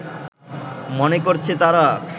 মনে করছে তারা